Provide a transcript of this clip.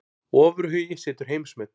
Ofurhugi setur heimsmet